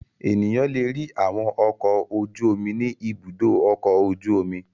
Ènìyàn le rí àwọn ọkọ̀ ojú-omi ní Ibùdó-ọkọ̀ ojú-omi.